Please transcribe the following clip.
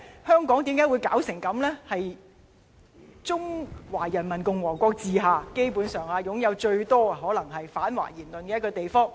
香港基本上可能是中華人民共和國治下擁有最多反華言論的地方。